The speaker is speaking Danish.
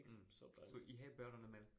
Mh. Så I havde børnene med?